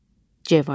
C variantı.